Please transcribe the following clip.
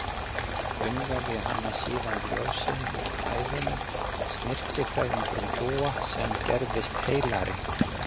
Umvefja hana síðan ljósinu úr hæðum, snyrtifræðingurinn Dúa sem gerðist heilari.